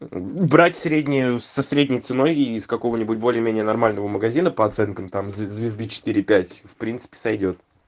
брать среднее со средней ценой из какого-нибудь более менее нормального магазина по оценкам там звезды четыре пять в принципе сойдёт